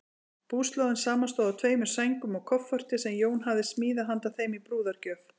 Búslóðin samanstóð af tveimur sængum og kofforti, sem Jón hafði smíðað handa þeim í brúðargjöf.